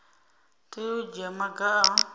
tea u dzhia maga a